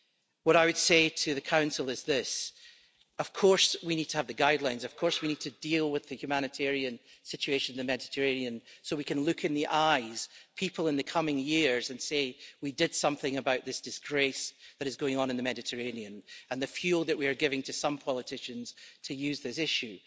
What I would say to the Council is this of course we need to have the guidelines, of course we need to deal with the humanitarian situation in the Mediterranean, so we can look in the eyes people in the coming years and say we did something about this disgrace that is going on in the Mediterranean and the fuel that we are giving to some politicians to use this issue.